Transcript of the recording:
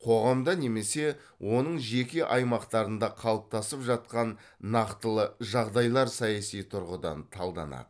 қоғамда немесе оның жеке аймақтарында қалыптасып жатқан нақтылы жағдайлар саяси тұрғыдан талданады